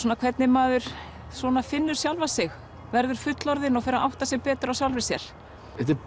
hvernig maður svona finnur sjálfa sig verður fullorðin og fer að átta sig betur á sjálfri sér þetta er